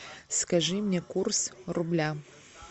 скажи мне курс рубля